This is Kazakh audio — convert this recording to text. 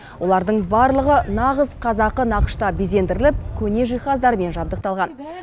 олардың барлығы нағыз қазақы нақышта безендіріліп көне жиһаздармен жабдықталған